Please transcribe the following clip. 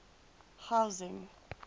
housing